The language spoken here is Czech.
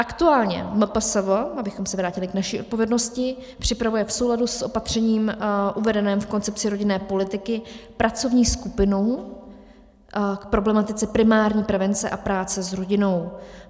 Aktuálně MPSV, abychom se vrátili k naší odpovědnosti, připravuje v souladu s opatřením uvedeným v koncepci rodinné politiky pracovní skupinu k problematice primární prevence a práce s rodinou.